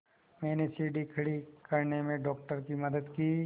मैंने सीढ़ी खड़े करने में डॉक्टर की मदद की